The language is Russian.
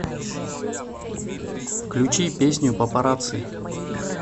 включи песню папарацци